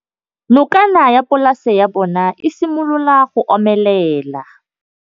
Nokana ya polase ya bona, e simolola go omelela.